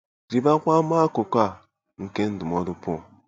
Rịbakwa ama akụkụ a nke ndụmọdụ Pọl.